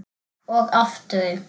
Og aftur.